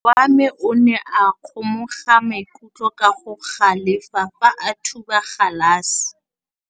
Morwa wa me o ne a kgomoga maikutlo ka go galefa fa a thuba galase.